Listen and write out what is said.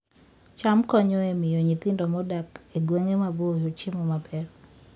cham konyo e miyo nyithindo modak e gwenge maboyo chiemo maber